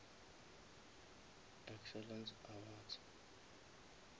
excellence awards